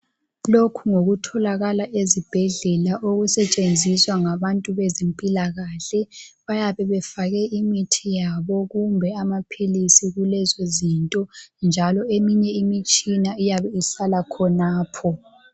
Lokhu ngokutholakala ezibhedlela okusetshenziswa ngabantu bezempilakahle. Bayabefake imithi yabo kumbe amaphiilisi kulezo zinto njalo eminye imitshina iyabe isala khonapho.